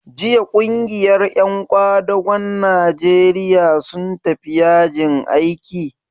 Jiya ƙungiyar ƴan ƙwadagon Najeriya sun tafi yajin aiki?